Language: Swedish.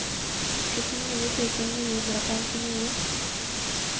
sjuttionio tusen niohundrafemtionio